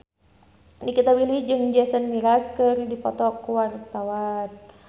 Nikita Willy jeung Jason Mraz keur dipoto ku wartawan